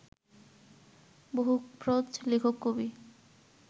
বহুপ্রজ লেখক কবি